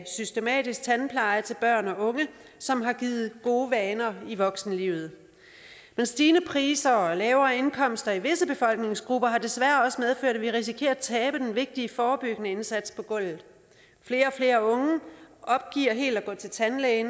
systematisk tandpleje til børn og unge som har givet gode vaner i voksenlivet men stigende priser og lavere indkomster for visse befolkningsgrupper har desværre også medført at vi risikerer at tabe den vigtige forebyggende indsats på gulvet flere og flere unge opgiver helt at gå til tandlæge